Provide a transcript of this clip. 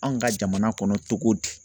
Anw ka jamana kɔnɔ cogo di